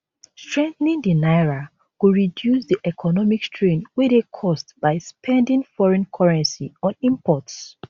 strengthening di naira go reduce di economic strain wey dey caused by spending foreign currency on imports